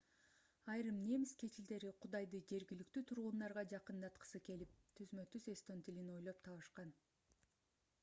айрым немис кечилдери кудайды жергиликтүү тургундарга жакындаткысы келип түзмө-түз эстон тилин ойлоп табышкан